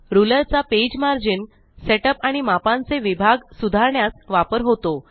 ruler चा page margin setup आणि मापांचे विभाग सुधारण्यास वापर होतो